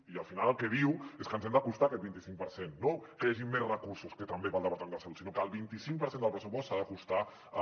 i al final el que diu és que ens hem d’acostar a aquest vint i cinc per cent no que hi hagin més recursos que també per al departament de salut sinó que el vint i cinc per cent del pressupost s’ha d’acostar a